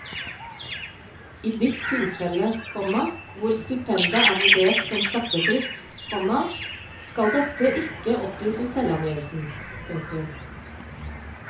I ditt tilfelle, komma hvor stipendet er vurdert som skattefritt, komma skal dette ikke oppgis i selvangivelsen. punktum